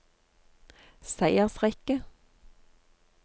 seiersrekke